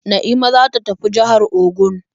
Na'ima za ta tafi jihar Ogun.